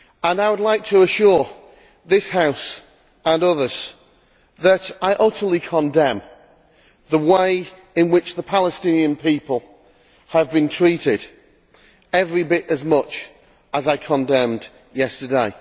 I would like to assure this House and others that I utterly condemn the way in which the Palestinian people have been treated, every bit as much as I condemned yesterday.